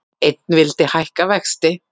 Einn vildi hækka vexti